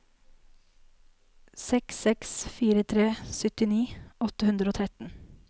seks seks fire tre syttini åtte hundre og tretten